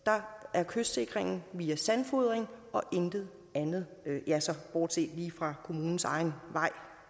at kystsikringen dér via sandfodring og intet andet ja bortset lige fra kommunens egen vej